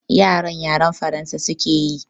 Yaran yaren Faransa suke yi